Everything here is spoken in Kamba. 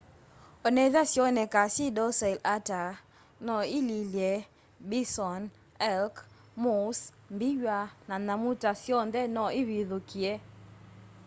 onethwa sioneka syi docile ata no ililye bison elk moose mbiwa na nyamu ta syonthe no ivithukie